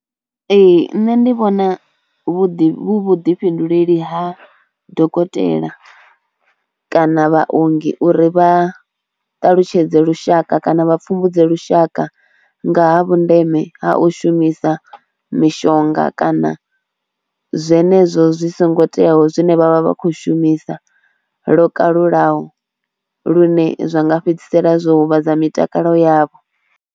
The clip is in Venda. Ee nṋe ndi vhona hu vhuḓi vhuḓifhinduleli ha dokotela kana vhaongi uri vha ṱalutshedze lushaka kana vha pfhumbudze lushaka nga ha vhundeme ha u shumisa mishonga kana zwenezwo zwi songo teaho zwine vha vha vha khou shumisa lo kalulaho lune zwa nga fhedzisela zwo huvhadza mitakalo yavho.